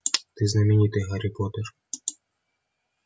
ты знаменитый гарри поттер